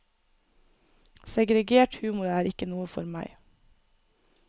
Segregert humor er ikke noe for meg.